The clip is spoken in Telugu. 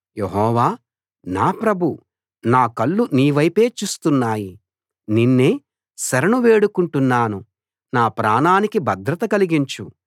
యెహోవా నా ప్రభూ నా కళ్ళు నీవైపే చూస్తున్నాయి నిన్నే శరణు వేడుకొంటున్నాను నా ప్రాణానికి భద్రత కలిగించు